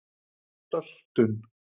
söltun